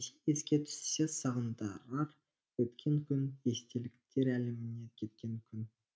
еске түссе сағындырар өткен күн естеліктер әлеміне кеткен күн